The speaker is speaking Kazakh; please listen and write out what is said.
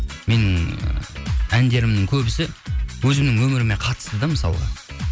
менің ы әндерімнің көбісі өзімнің өміріме қатысты да мысалға